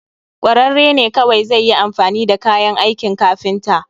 kwararre ne kawai zai yi amfani da kayan aikin kafinta